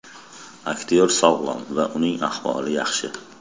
Aktyor sog‘lom va uning ahvoli yaxshi.